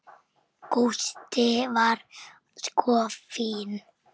Gústi var sko fínn.